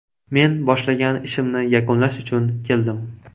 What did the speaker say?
Men boshlagan ishimni yakunlash uchun keldim.